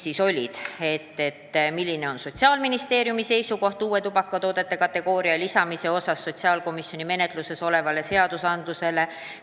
Näiteks, milline on Sotsiaalministeeriumi seisukoht, kas peetakse vajalikuks lisada menetluses olevasse eelnõusse uus tubakatoodete kategooria.